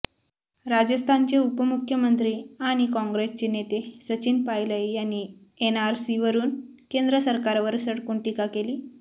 राजस्थानचे उपमुख्यमंत्री आणि काॅंग्रेसचे नेते सचिन पायलय यांनी एनआरसीवरुन केंद्र सरकारवर सडकून टीका केली